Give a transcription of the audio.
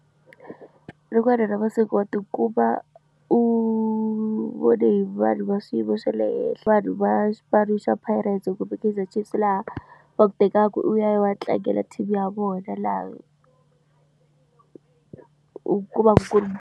Rin'wani ra masiku wa tikuma u vone hi vanhu va swiyimo swa le henhla vanhu va xipano xa Pirates kumbe Kaizer Chiefs laha va ku tekaka u ya tlangela team ya vona laha u kumaka ku ri.